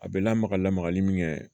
A bɛ lamaga lamagali min kɛ